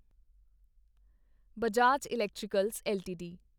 Bajaj electricals LTD